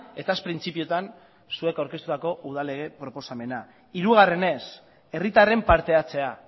eta ez printzipioetan zuek aurkeztutako udal lege proposamena hirugarrenez herritarren partehartzea